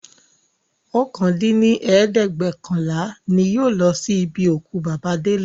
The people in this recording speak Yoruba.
okòó dín ní ẹ̀ẹ́dẹ́gbẹ́ọ̀kànlá ni yóò lọ sí ibi òkú bàbà Délé